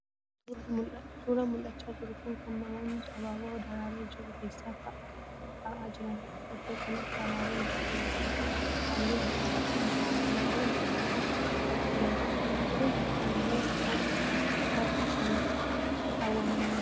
Suuraan mul'achaa jiru kun kan namoonni abaaboo daraaree jiru keessa ta'aa jiraniidha. Iddoo kanatti abaaboon baay'ee miidhagan halluu adda addaan jiru. Abaaboon argamaa jiran kun kaayyoo maaliif bakka sana kaawwaman?